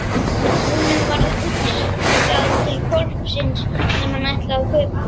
Honum varð hugsað til hvolpsins sem hann ætlaði að kaupa.